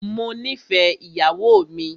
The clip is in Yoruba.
Mó nìfẹ ìyàwó mi.